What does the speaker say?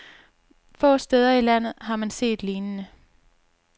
Få steder i landet har man set lignende.